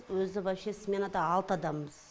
өзі вообще сменада алты адамбыз